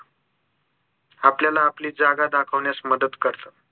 आपल्याला आपली जागा दाखवण्यास मदत करतं